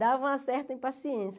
Dava uma certa impaciência.